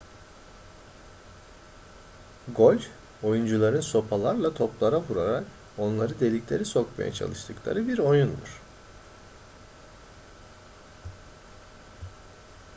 golf oyuncuların sopalarla toplara vurarak onları deliklere sokmaya çalıştıkları bir oyundur